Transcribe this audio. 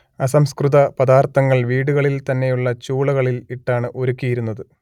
അസംസ്കൃത പദാർത്ഥങ്ങൾ വീടുകളിൽ തന്നെയുള്ള ചൂളകളിൽ ഇട്ടാണ് ഉരുക്കിയിരുന്നത്